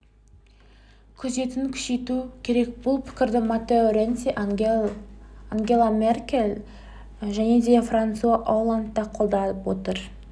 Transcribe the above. күзетін күшейту керек бұл пікірді маттео ренци ангела меркель және франсуа олланд та қолдап отыр